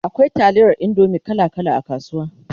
akwai taliyar indomie kala kala a kasuwa